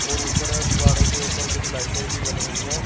और ऊपर दीवारों के ऊपर कुछ लाइटें भी बल रही हैं।